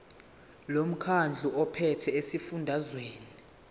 lomkhandlu ophethe esifundazweni